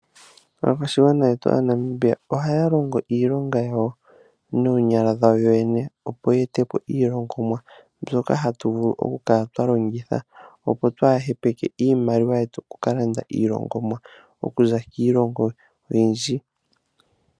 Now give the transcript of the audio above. Aakwashigwana aNamibia ohayalongo iilonga yawo noonyala dhawo yoyena opo ya etepo iilongomwa yawo mbyoka hatuvulu okukala twalongitha opo twahepeke iimaliwa twaakalande kiilongo yimwe oyindji.